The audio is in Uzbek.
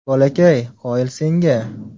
Bolakay, qoyil senga!